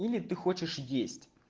или ты хочешь есть